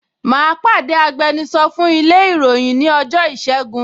Mà á pàdé agbẹnusọ fún ilé ìròyìn ní ọjọ́ ìṣẹ́gun